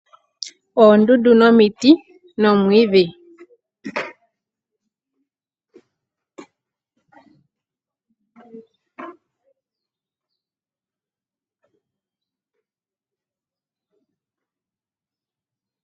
Oondundu nomiti nomwiidhi.